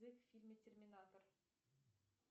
в фильме терминатор